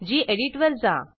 गेडीत वर जा